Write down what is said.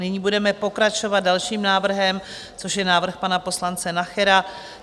Nyní budeme pokračovat dalším návrhem, což já návrh pana poslance Nachera.